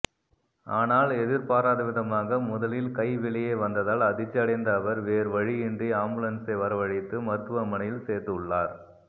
ஆனால் எதிர்பாராதவிதமாக முதலில் கை வெளியே வந்ததால் அதிர்ச்சி அடைந்த அவர் வேறுவழியின்றி ஆம்புலன்சை வரவழைத்து மருத்துவமனையில் சேர்த்துள்ளார்